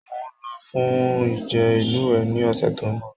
Mo n lọ fún ìje ilúwẹ ní ọsẹ tó n bọ.